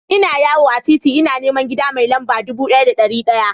Ina yawo a titi ina neman gida mai lamba dubu ɗaya da ɗari ɗaya.